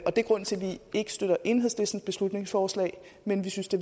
og det er grunden til at vi ikke støtter enhedslistens beslutningsforslag men vi synes det